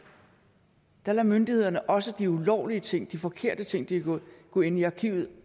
der lader myndighederne også de ulovlige ting de forkerte ting de har gjort gå ind i arkivet